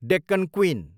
Deccan queen